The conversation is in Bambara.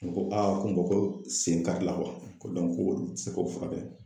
U ko ko ko sen karila ko ko olu ti se k'o furakɛ